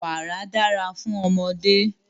Wàrà dára fún ọmọdé.